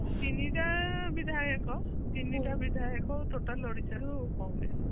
ତିନିଟା ବିଧାୟକ ତିନିଟା ବିଧାୟକ total ଓଡିଶା ରୁ କଂଗ୍ରେସ